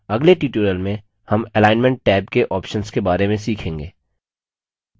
अगले tutorial में हम alignment टैब के options के बारे में सीखेंगे